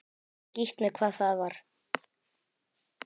Skítt með hvað það var.